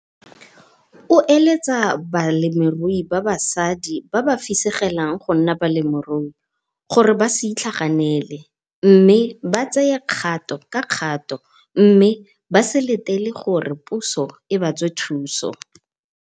O eletsa balemirui ba basadi ba ba fisegelang go nna balemirui gore ba se itlhaganele mme ba tseye kgato ka kgato mme ba se letele gore puso e ba tswe thuso.